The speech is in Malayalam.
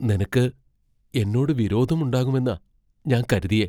നിനക്ക് എന്നോട് വിരോധം ഉണ്ടാകുമെന്നാ ഞാൻ കരുതിയെ.